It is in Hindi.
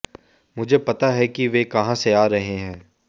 मुझे पता है कि वे कहां से आ रहे हैं